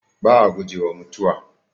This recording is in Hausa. Ba'a gujewa mutuwa.